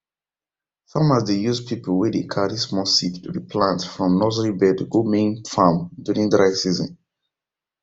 farmers dey use pipiu wey dey carry small seeds re plant from nursery bed go main farm during dry season